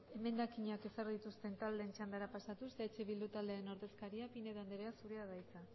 emendakinak ezarri dituzten taldeetara pasatuz eh bildu taldearen ordezkaria pinedo andrea zurea da hitza